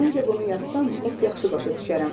Məncə bunu yazsam, lap yaxşı başa düşərəm.